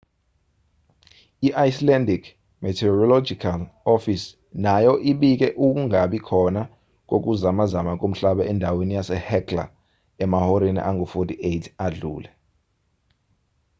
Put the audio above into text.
i-icelandic meteorological office nayo ibike ukungabi khona kokuzamazama komhlaba endaweni yasehekla emahoreni angu-48 adlule